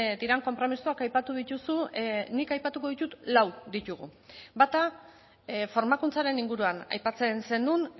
diren konpromisoak aipatu dituzu nik aipatuko ditut lau ditugu bata formakuntzaren inguruan aipatzen zenuen